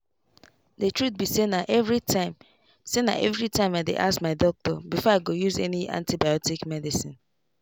the truth be sayna everytime sayna everytime i dey ask my doctor before i go use any antibiotic medicine.